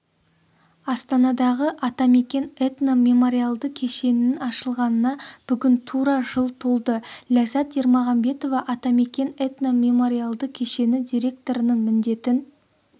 астанадағы атамекен этно-мемориалды кешенінің ашылғанына бүгін тура жыл толды ләззат ермағамбетова атамекен этно-мемориалды кешені директорының міндетін